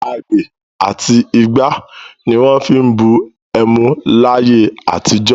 Agbè àti igbá ni wọ́n fi ń bu ẹmu láyé àtijọ́.